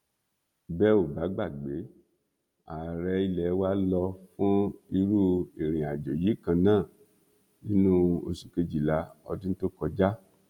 bẹ ò bá gbàgbé ààrẹ ilé wa lọ fún irú ìrìnàjò yìí kan náà nínú oṣù kejìlá ọdún tó kọjá